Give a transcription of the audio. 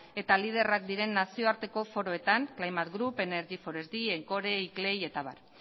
eta liderrak diren nazioarteko foroetan climate group energy encore iclei eta abar